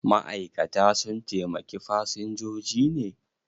Ma'aikata sun taimaki fasinjoji ne?